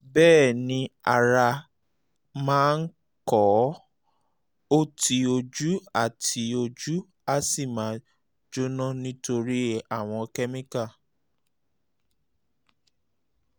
bẹ́ẹ̀ ni ara máa um ń kọ̀ ọ́ tí ojú á tí ojú á sì máa jóná um nítorí àwọn kẹ́míkà